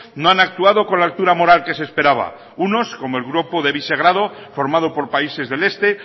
no han actuado con la altura moral que se esperaba unos como el grupo de visegrado formado por países del este